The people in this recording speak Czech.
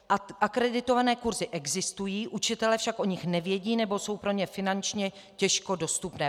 Akreditované kurzy existují, učitelé však o nich nevědí nebo jsou pro ně finančně těžko dostupné.